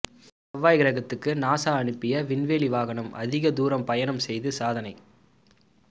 செவ்வாய் கிரகத்துக்கு நாசா அனுப்பிய விண்வெளி வாகனம் அதிக தூரம் பயணம் செய்து சாதனை